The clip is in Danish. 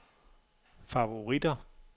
favoritter